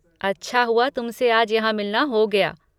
अच्छा हुआ तुमसे आज यहाँ मिलना हो गया।